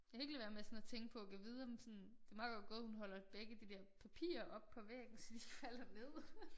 Jeg kan ikke lade være med at sådan at tænke på gad vide om sådan det meget godt gået hun holder begge de der papirer op på væggen så de ikke falder ned